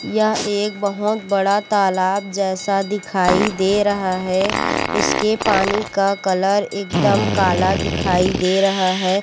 यह एक बहोत बड़ा तालाब जैसा दिखाई दे रहा है इसके पानी का कलर एकदम काला दिखाई दे रहा है।